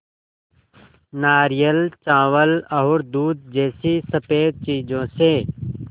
नारियल चावल और दूध जैसी स़फेद चीज़ों से